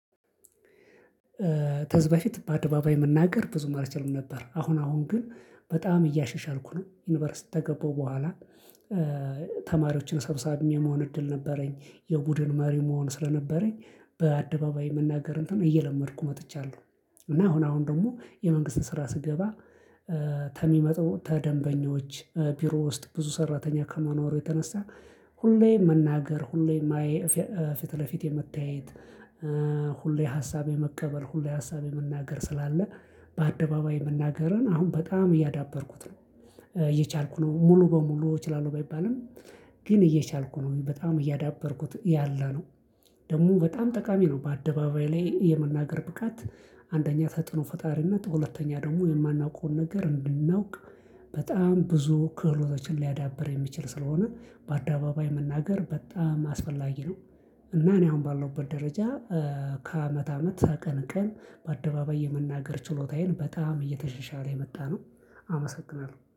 ተዝ በፊት በአደባባይ መናገር ብዙም አልቻለም ነበር አሁን አሁን ግን በጣም እያሸሻልኩ ነው ዩኒቨርሲቲ ተገባሁ በኋላ ተማሪዎችን ሰብሳቢ የመሆን እድል ነበረኝ የቡድን መሪ መሆን ስለነበረኝ በአደባባይ መናገር እንትን እየለመድኩ መጥቻለሁ። እና አሁን አሁን ደግሞ የመንግስት ስራ ስገባ ተሚመጡ ተደንበኞች ቢሮ ውስጥ ብዙ ሰራተኛ ከመኖሩ የተነሳ ሁሌ መናገር ሁሌ ፊት ለፊት የመታየት ሁሌ ሀሳብ የመቀበል ሁሌ ሀሳብ የመናገር ስላለ በአደባባይ መናገርን አሁን በጣም እያዳበርኩት ነው። እየቻልኩ ነው ሙሉ በሙሉ እችላለሁ ባይባልም ግን እየቻልኩ ነው በጣም እያዳበርኩት ያለ ነው። ደግሞ በጣም ጠቃሚ ነው በአደባባይ ላይ የመናገር ብቃት። አንደኛ ተጽዕኖ ፈጣሪነት ሁለተኛ ደግሞ የማናውቀውን ነገር እንድናውቅ በጣም ብዙ ክህሎቶችን ሊያዳብር የሚችል ስለሆነ በአደባባይ መናገር በጣም አስፈላጊ ነው። እና እኔ አሁን ባለውበት ደረጃ ከአመት አመት ቀን ቀን በአደባባይ የመናገር ችሎታዬን በጣም እየተሸሻለ የመጣነው። አመሰግናለሁ